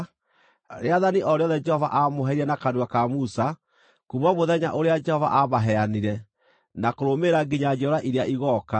rĩathani o rĩothe Jehova aamũheire na kanua ka Musa kuuma mũthenya ũrĩa Jehova aamaheanire na kũrũmĩrĩra nginya njiarwa iria igooka,